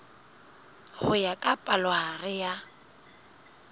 ho ya ka palohare ya